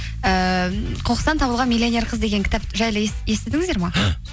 ііі қоқыстан табылған миллионер қыз деген кітап жайлы естідіңіздер ме